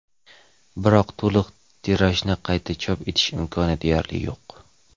biroq to‘liq tirajni qayta chop etish imkoni deyarli yo‘q.